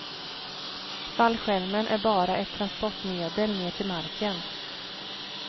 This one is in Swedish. Fallskärmen är bara ett transportmedel ner till marken.